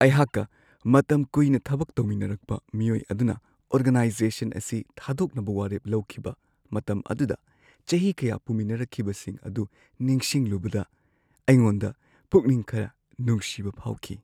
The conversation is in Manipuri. ꯑꯩꯍꯥꯛꯀ ꯃꯇꯝ ꯀꯨꯏꯅ ꯊꯕꯛ ꯇꯧꯃꯤꯟꯅꯔꯛꯄ ꯃꯤꯑꯣꯏ ꯑꯗꯨꯅ ꯑꯣꯔꯒꯅꯥꯏꯖꯦꯁꯟ ꯑꯁꯤ ꯊꯥꯗꯣꯛꯅꯕ ꯋꯥꯔꯦꯞ ꯂꯧꯈꯤꯕ ꯃꯇꯝ ꯑꯗꯨꯗ ꯆꯍꯤ ꯀꯌꯥ ꯄꯨꯃꯤꯟꯅꯔꯛꯈꯤꯕꯁꯤꯡ ꯑꯗꯨ ꯅꯤꯡꯁꯤꯡꯂꯨꯕꯗ ꯑꯩꯉꯣꯟꯗ ꯄꯨꯛꯅꯤꯡ ꯈꯔ ꯅꯨꯡꯁꯤꯕ ꯐꯥꯎꯈꯤ ꯫